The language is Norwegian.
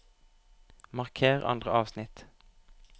Marker andre avsnitt